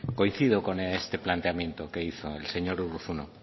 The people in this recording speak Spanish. coincido con este planteamiento que hizo el señor urruzuno